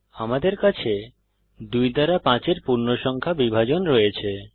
আমাদের কাছে 2 দ্বারা 5 এর পূর্ণসংখ্যা বিভাজন রয়েছে